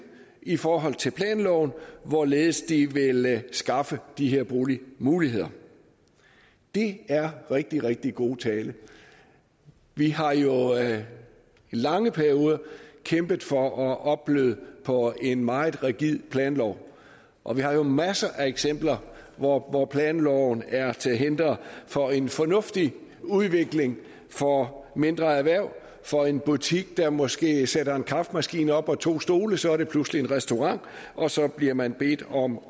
i forhold til planloven hvorledes de vil skaffe de her boligmuligheder det er rigtig rigtig god tale vi har jo i lange perioder kæmpet for at opbløde på en meget rigid planlov og vi har masser af eksempler hvor hvor planloven er til hinder for en fornuftig udvikling for mindre erhverv for en butik der måske sætter en kaffemaskine op og to stole så er det pludselig en restaurant og så bliver man bedt om